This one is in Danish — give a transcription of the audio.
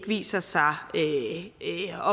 viser sig ikke